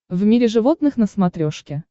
в мире животных на смотрешке